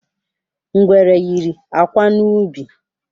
Ngwere yiri akwa n’ubi.